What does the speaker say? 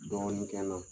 Dɔɔnin kɛ n na